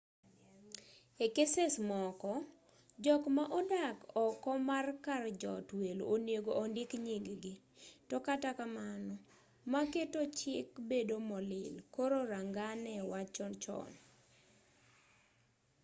e keses moko jok ma odak oko mar kar jot welo onego ondik nying-gi to katakamano ma keto chik bedo molil koro rangane wachno chon